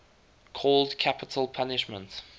called capital punishment